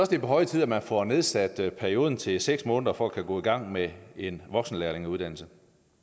det er på høje tid at man får nedsat perioden til seks måneder for at kunne gå i gang med en voksenlærlingeuddannelse